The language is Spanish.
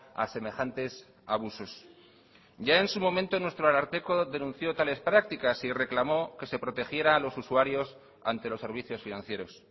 a semejantes abusos ya en su momento nuestro ararteko denunció tales prácticas y reclamó que se protegiera a los usuarios ante los servicios financieros